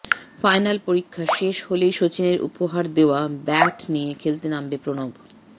final পরীক্ষা শেষ হলেই সচিনের উপহার দেওয়া ব্যাট নিয়ে খেলতে নামবে প্রণব